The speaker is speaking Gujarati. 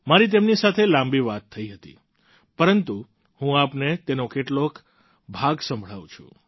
મારી તેમની સાથે લાંબી વાત થઈ હતી પરંતુ હું આપને તેનો કેટલાક ભાગ સંભળાવું છું